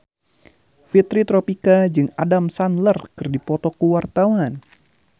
Fitri Tropika jeung Adam Sandler keur dipoto ku wartawan